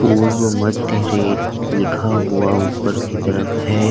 पूर्व मध्य रेल लिखा हुआ ऊपर की तरफ है।